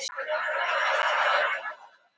Öll skip eru bundin við akkeri